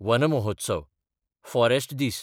one महोत्सव (forest दीस)